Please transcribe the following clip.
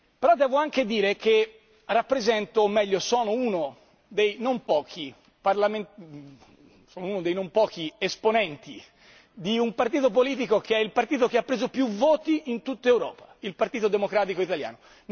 Però devo anche dire che rappresento, o meglio, sono uno dei non pochi esponenti di un partito politico che è il partito che ha preso più voti in tutta Europa il Partito Democratico Italiano.